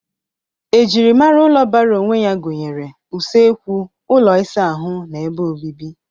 Ejirimara ụlọ bara onwe gụnyere usekwu, ụlọ ịsa ahụ, na ebe obibi.